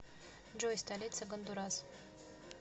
джой столица гондурас